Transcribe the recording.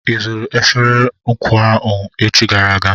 I zụrụ efere nkụwa ahụ echi gara aga?